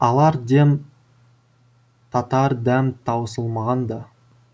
алар дем татар дәм таусылмаған да